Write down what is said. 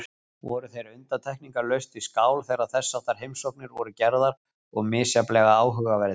Voru þeir undantekningarlaust við skál þegar þessháttar heimsóknir voru gerðar og misjafnlega áhugaverðir.